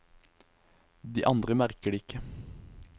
De andre merker det ikke.